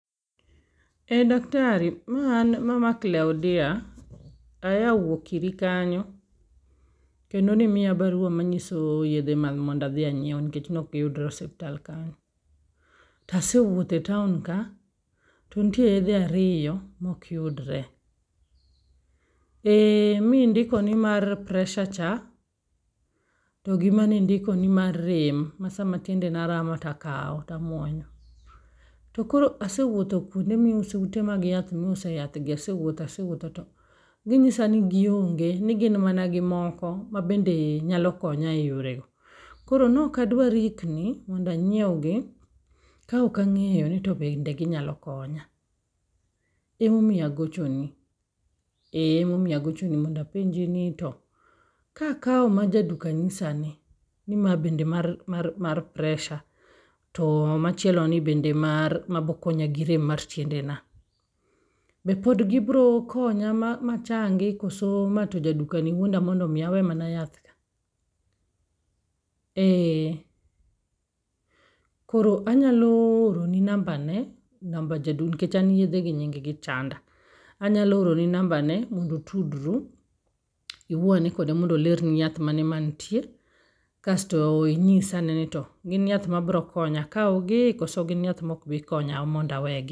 E daktari ma an mama Claudia, aya wuok iri kanyo kendo nimiya barua ma nyiso yedhe mag mondadhi anyiew nikech nok giyudore osipatal kanyo. Tasewuotho e taon ka, to nitie yedhe ariyo mokyudre. Ee mindiko ni mar pressure cha, togi manindiko ni mar rem ma sama tiendena rama takawo tamuonyo. Tokoro asewuotho kuonde miuse ute mag yath miuse yath gi asewuotho asewuotho to ginyisa ni gionge. Ni gin mana gi moko ma bende nyalo konya e yore go. Koro nokadwa rikni mondanyiew gi ka okang'eyo ni to bende ginyalo konya, emomiyo agocho ni. E emomiyo agochoni mondo apenji ni to kakawo ma jaduka nyisa ni, ni ma bende mar pressure. To machielo ni bende mar mabo konya gi rem mar tiende na. Be pod gibo konya machangi koso ma to bende jadukani wuonda mondo mi awe mana yath gi. E, koro anyalo oroni namba ne, namba ja du, nikech an yedhe gi nying gi chanda. Anyalo oroni namba ne mondo utudru, iwuo ane kode mondo olerni yath mane mantie, kasto inyisa ane ni to gin yath ma bro konya. Akawgi koso gin yath mok bi konya monda we gi.